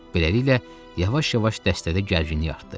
Beləliklə, yavaş-yavaş dəstədə gərginlik artdı.